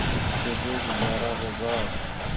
कैसे गुजारा होगा